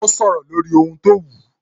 Ó sọ̀rọ̀ lórí ohun tó wù